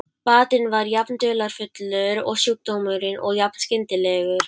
Batinn var jafn dularfullur og sjúkdómurinn og jafn skyndilegur.